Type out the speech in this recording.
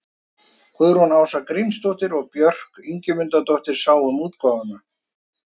Guðrún Ása Grímsdóttir og Björk Ingimundardóttir sáu um útgáfuna.